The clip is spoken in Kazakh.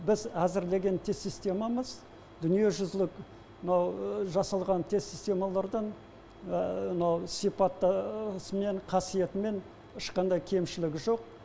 біз әзірлеген тест системамыз дүниежүзілік мынау жасалған тест системалардан мынау сипатысымен қасиетімен ешқандай кемшілігі жоқ